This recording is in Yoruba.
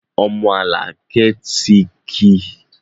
Ọmọ alakẹ tí ki